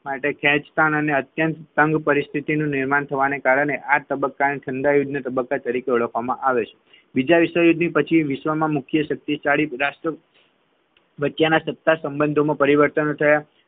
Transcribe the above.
માટે ખેંચતાણ આ અત્યંત અને તંગ પરિસ્થિતિનું નિર્માણ થવા ના કારણે આ તબક્કા ને ઠંડા યુદ્ધના તબક્કા તરીકે ઓળખવામાં આવે છે બીજા વિશ્વયુદ્ધ પછી વિશ્વમાં મુખ્ય શક્તિશાળી વચ્ચેના સત્તા સંબંધોમાં પરિવર્તન થયા